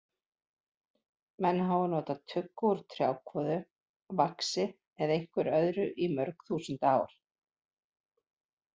Menn hafa nota tuggu úr trjákvoðu, vaxi eða einhverju öðru í mörg þúsund ár.